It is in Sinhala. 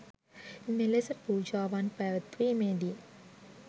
මෙලෙස පූජාවන් පැවැත්වීමේ දී